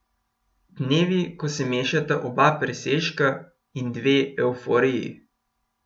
Dnevi, ko se mešata oba presežka in dve evforiji.